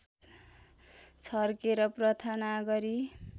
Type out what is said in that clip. छर्केर प्रार्थना गरी